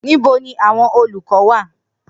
Nibo ni awọn olukọ wa?